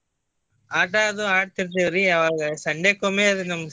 ಆಟಾ ಅದು ಆಡ್ತಿರ್ತೀವ್ರಿ ಯಾವಾಗ Sunday ಕೊಮ್ಮೆ ಅದು ನಮ್ಗ್ ಸಿಗುದು.